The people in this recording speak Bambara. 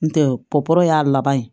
N tɛ y'a laban ye